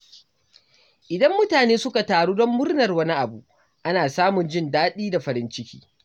Idan mutane suka taru don murnar wani abu, ana samun jin daɗi da farin ciki.